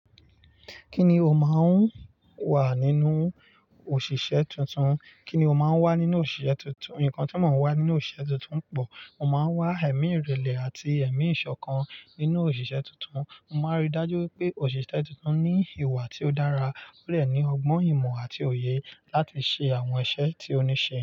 Kíni o máa ń wà nínú òṣìṣẹ́ tuntun? Kíni o máa ń wà nínú òṣìṣẹ́ tuntun? Nǹkan tí mo máa ń wà nínú òṣìṣẹ́ tuntun pọ̀. Mo máa ń wá ẹ̀mí ìrẹ̀lẹ̀ àti ẹ̀mí ìṣọ̀kan nínú òṣìṣẹ́ tuntun. Mo máa ń rí i dájú pé òṣìṣẹ́ tuntun ní ìwà tí ó dára kúrò lẹ́yìn ọgbọ́n ìmọ̀ àti òye láti ṣe àwọn iṣẹ́ tí ó ní ṣe.